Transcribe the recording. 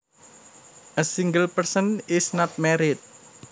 A single person is not married